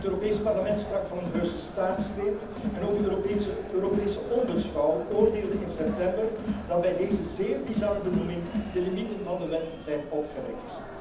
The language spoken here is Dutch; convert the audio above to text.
Het Europees Parlement sprak van een heuse staatsgreep en ook de Europese Ombudsvrouw oordeelde in september dat bij deze zeer bizarre benoeming de limieten van de wet zijn opgerekt.